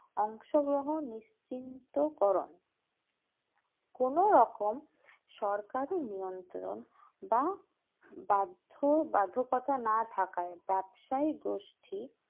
অংশগ্রহণ নিশ্চিন্ত করন কোনরকম সরকারি নিয়ন্ত্রণ বা বাধ্য বাধ্যকথা না থাকায় ব্যবসায়ী গোষ্ঠী